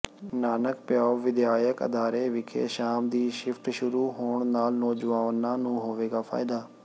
ਨਾਨਕ ਪਿਆਉ ਵਿਦਿਅਕ ਅਦਾਰੇ ਵਿਖੇ ਸ਼ਾਮ ਦੀ ਸ਼ਿਫਟ ਸ਼ੁਰੂ ਹੋਣ ਨਾਲ ਨੌਜਵਾਨਾਂ ਨੂੰ ਹੋਵੇਗਾ ਫਾਇਦਾ